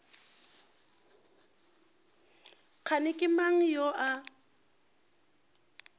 kgane ke mang yo a